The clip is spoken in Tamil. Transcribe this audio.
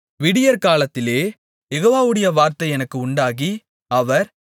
விடியற்காலத்திலே யெகோவாவுடைய வார்த்தை எனக்கு உண்டாகி அவர்